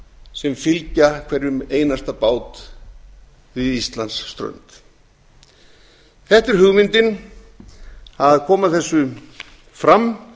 sem fylgja hverjum einasta bát við íslandsströnd þetta er hugmyndin að koma þessu fram